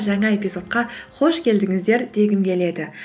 жаңа эпизодқа қош келдіңіздер дегім келеді